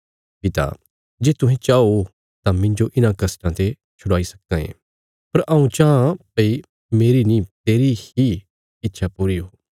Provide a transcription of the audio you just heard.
पिता जे तुहें चाओ तां मिन्जो इन्हां कष्टां ते छुड़ाई सक्कां ये पर हऊँ चाँह भई मेरी नीं तेरी ही इच्छा पूरी ओ